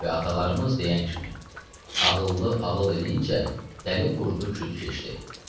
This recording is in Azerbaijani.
Və atalarımız deyən kimi ağıllı ağıl eləyincə, dəli vurdu küdü keçdi.